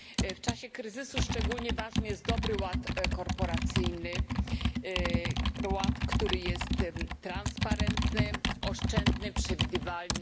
W czasie kryzysu szczególnie ważny jest dobry ład korporacyjny, ład, który jest transparentny, oszczędny, przewidywalny.